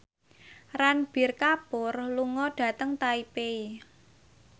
Ranbir Kapoor lunga dhateng Taipei